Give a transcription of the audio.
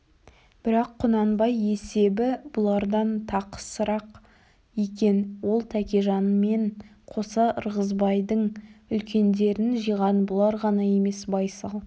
бірақ құнанбай есебі бұлардан тақысырақ екен ол тәкежанмен қоса ырғызбайдың үлкендерін жиған бұлар ғана емес байсал